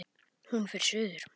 Hún fer suður.